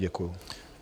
Děkuji.